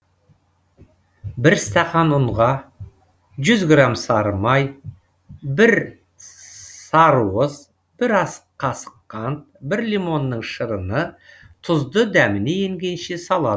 бір стақан ұнға жүз грамм сары май бір сссарыуыз бір ас қасық қант бір лимонның шырыны тұзды дәміне енгенше салад